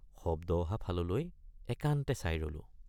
শব্দ অহা ফাললৈ একান্তে চাই ৰলোঁ।